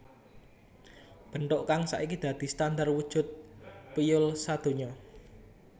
Bentuk kang saiki dadi standar wujud piyul sadonya